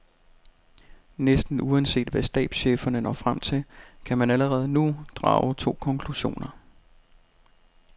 Næsten uanset hvad stabscheferne når frem til, kan man allerede nu drage to konklusioner.